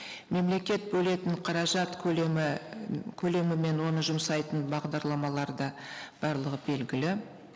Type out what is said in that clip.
мемлекет бөлетін қаражат көлемі көлемі мен оны жұмсайтын бағдарламалары да барлығы белгілі